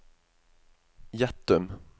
Gjettum